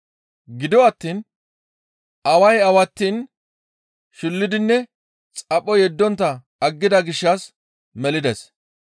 Gido attiin away awattiin shullidinne xapho yeddontta aggida gishshas melides.